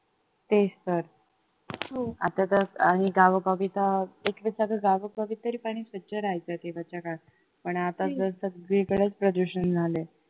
तेच तर आता तर म्हणजे गावोगावी तर तरी पाणी स्वच्छ राहायचं पण आता तर सगळीकडेच प्रदूषण झालंय